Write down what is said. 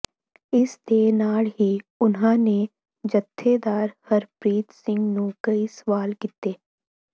ਇਸ ਦੇ ਨਾਲ ਹੀ ਉਨ੍ਹਾਂ ਨੇ ਜਥੇਦਾਰ ਹਰਪ੍ਰੀਤ ਸਿੰਘ ਨੂੰ ਕਈ ਸਵਾਲ ਕੀਤੇ